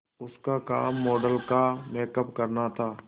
उसका काम मॉडल का मेकअप करना था